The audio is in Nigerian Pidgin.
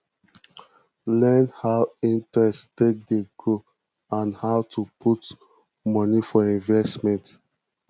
learn how interest take dey grow and how to put money for investment